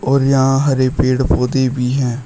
और यहां हरे पेड़ पौधे भी हैं।